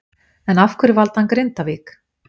En af hverju valdi hann Grindavík?